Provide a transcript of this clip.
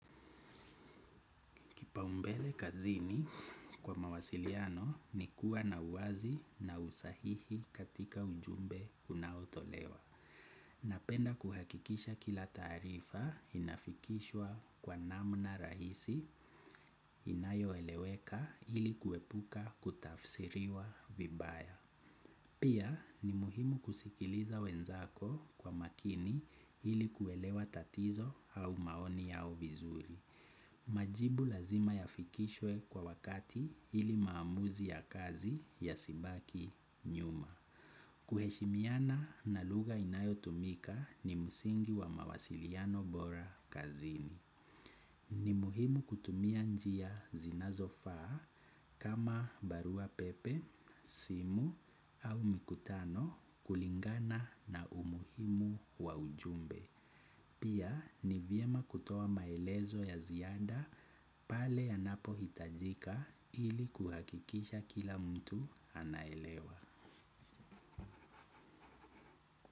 Kipau mbele kazini kwa mawasiliano ni kuwa na uwazi na usahihi katika ujumbe unaotolewa. Napenda kuhakikisha kila tarifa inafikishwa kwa namna rahisi inayo eleweka ili kuepuka kutafsiriwa vibaya. Pia ni muhimu kusikiliza wenzako kwa makini ili kuelewa tatizo au maoni yao vizuri. Majibu lazima yafikishwe kwa wakati ili maamuzi ya kazi ya sibaki nyuma. Kuheshimiana na luga inayo tumika ni musingi wa mawasiliano bora kazini. Ni muhimu kutumia njia zina zofaa kama barua pepe, simu au mikutano kulingana na umuhimu wa ujumbe. Pia ni vyema kutoa maelezo ya zianda pale yanapo hitajika ili kuhakikisha kila mtu anaelewa.